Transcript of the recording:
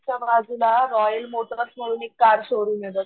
बाजूला Royal Motors म्हणून एक कार शोरूम बघ,